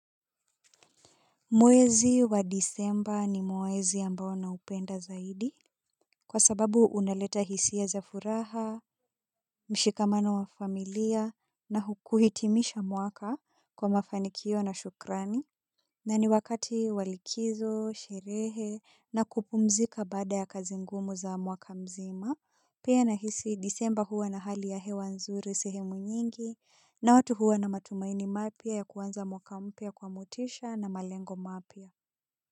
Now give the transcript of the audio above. Mwezi wa disemba ni mwezi ambao naupenda zaidi kwa sababu unaleta hisia za furaha mshikamano wa familia na kuhitimisha mwaka kwa mafanikio na shukrani. Na ni wakati wa likizo, sherehe, na kupumzika baada ya kazi ngumu za mwaka mzima, pia nahisi disemba huwa na hali ya hewa nzuri sehemu nyingi, na watu huwa na matumaini mapya ya kuwmanza mwaka mpya kwa motisha na malengo mapya.